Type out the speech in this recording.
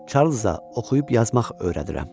Çarlza oxuyub yazmaq öyrədirəm.